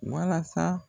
Walasa